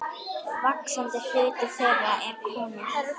Vaxandi hluti þeirra er konur.